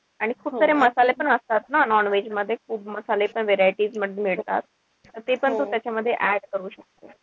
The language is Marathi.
आणि खूप सारे मसाले पण असतात ना non-veg मध्ये, खूप मसाले पण variety मध्ये मिळतात. तेपण तू त्याच्यामध्ये add करू शकते.